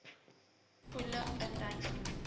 poele induik sonder